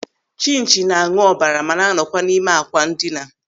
Chinchi na-añụ ọbara ma na-anọkwa n'ime àkwà ndina.